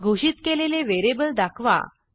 घोषित केलेले व्हेरिएबल दाखवा